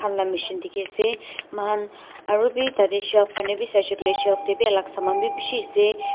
Bhal la machine dekhi ase moi khan aru bhi tar te Shelf khan te bhi sai se koile shelf te bhi alag saman bhi bisi ase.